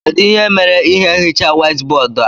Kedụ ihe mere ihe nhicha white bóódú a?